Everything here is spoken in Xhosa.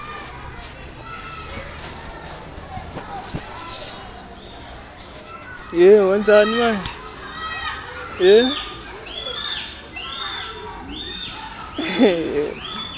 kunangokuya bebeme nzu